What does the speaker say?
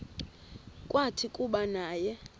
kwathi kuba naye